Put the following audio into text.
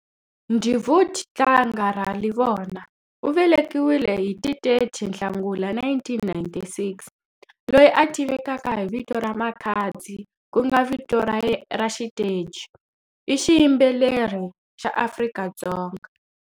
Ndivhud tlanga Ralivhona, u velekiwile hi ti 30 Nhlangula 1996, loyi a tivekaka hi vito ra Makhadzi ku nga vito ra xiteji, i xiyimbelri xa Afrika-Dzonga.